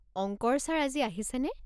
অংকৰ ছাৰ আজি আহিছেনে?